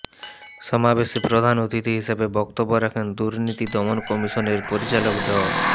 সমাবেশে প্রধান অতিথি হিসাবে বক্তব্য রাখেন দুর্নীতি দমন কমিশনের পরিচালক ড